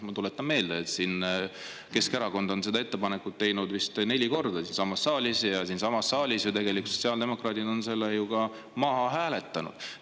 Ma tuletan meelde, et Keskerakond on selle ettepaneku teinud vist neli korda siinsamas saalis ja siinsamas saalis ju tegelikult sotsiaaldemokraadid on selle ka maha hääletanud.